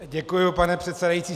Děkuji, pane předsedající.